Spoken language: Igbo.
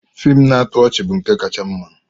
Fiim na-atọ ọchị bụ nke kacha mma.